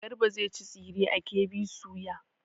Garba zai ci tsire a KB soya.